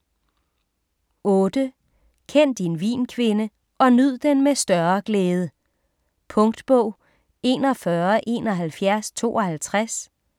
8. Kend din vin kvinde - og nyd den med større glæde Punktbog 417152